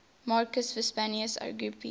marcus vipsanius agrippa